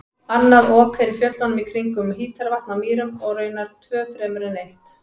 Annað Ok er í fjöllunum kringum Hítarvatn á Mýrum og raunar tvö fremur en eitt.